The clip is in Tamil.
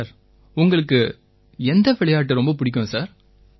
சார் உங்களுக்கு எந்த விளையாட்டு ரொம்ப பிடிக்கும் சார்